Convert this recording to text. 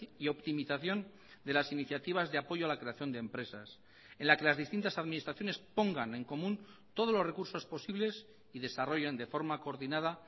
y optimización de las iniciativas de apoyo a la creación de empresas en la que las distintas administraciones pongan en común todos los recursos posibles y desarrollen de forma coordinada